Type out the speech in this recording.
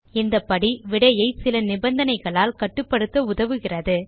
இந்த படி விடையை சில நிபந்தனைகளால் கட்டுப்படுத்த உதவுகிறது